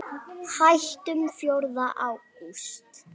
Hættum fjórða ágúst.